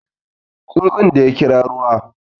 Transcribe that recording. Tsuntsun da ya ƙira ruwa